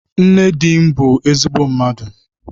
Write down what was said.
Nne di m bụ ezigbo mmadụ.